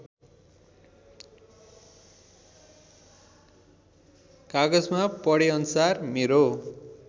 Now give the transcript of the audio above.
कागजमा पढेअनुसार मेरो